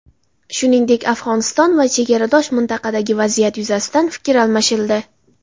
Shuningdek, Afg‘oniston va chegaradosh mintaqadagi vaziyat yuzasidan fikr almashildi.